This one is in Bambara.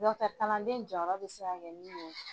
kalanden jɔyɔrɔ bɛ se ka kɛ min ye.